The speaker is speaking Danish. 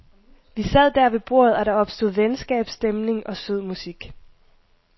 Vi sad dér ved bordet, og der opstod venskab, stemning og sød musik.